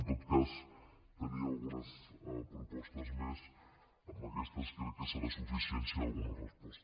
en tot cas tenia algunes propostes més amb aquestes crec que serà suficient si hi ha alguna resposta